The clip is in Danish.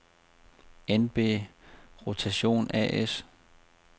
NB Rotation A/S